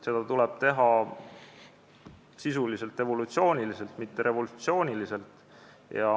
Seda tuleb teha sisuliselt, evolutsiooniliselt, mitte revolutsiooniliselt.